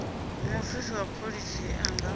mufisi wa pholisa a nga